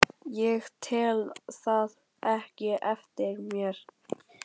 Ég tel það ekkert eftir mér.